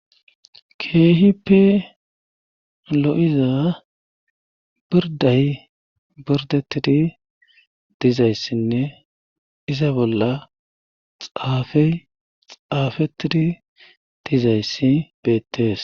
keehipi lo7iza birday birdetidi dizayssinne iza bolla xaafey xaafetidi dizayssi beettees